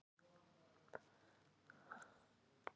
Oft kemst sá í krappan dans sem ekki leitar fyrir sér.